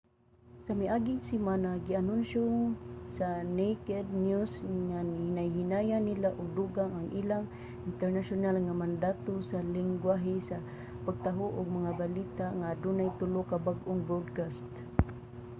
sa miaging semana gianunsyo sa naked news nga hinay-hinayan nila og dugang ang ilang internasyonal nga mandato sa linggwahe sa pagtaho og mga balita nga adunay tulo ka bag-ong broadcast